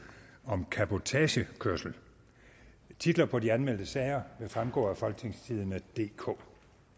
om cabotagekørsel titler på de anmeldte sager vil fremgå af folketingstidende DK